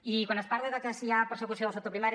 i quan es parla de si hi ha persecució del sector primari